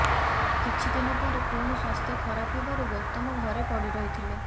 କିଛି ଦିନ ପରେ ପୁଣି ସ୍ୱାସ୍ଥ୍ୟ ଖରାପ ହେବାରୁ ଗୌତମ ଘରେ ପଡିରହିଥିଲେ